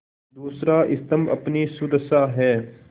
दूसरा स्तम्भ अपनी सुदशा है